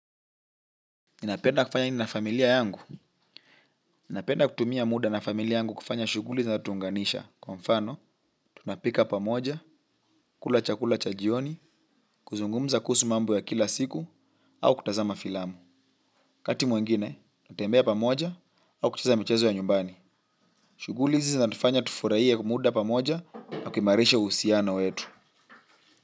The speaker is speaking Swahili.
Ninapenda kufanya nini na familia yangu. Ninapenda kutumia muda na familia yangu kufanya shughuli zinatuunganisha. Kwa mfano, tunapika pamoja, kula chakula cha jioni, kuzungumza kuhusu mambo ya kila siku, au kutazama filamu. Wakati mwengine, hutembea pamoja, au kucheza michezo ya nyumbani. Shughuli hizi zinatufanya tufurahie muda pamoja, tukiimarisha uhusiano wetu.